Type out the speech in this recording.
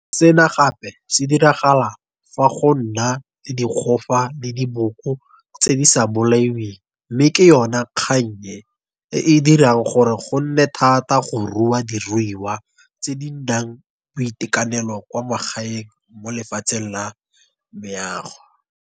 Sena gape se diragala fa go na le dikgofa le diboko tse di sa bolaiweng mme ke yona kgang e, e e dirang gore go nne thata go rua diruiwa tse di nang boitekanelo kwa magaeng mo lefatsheng la meago.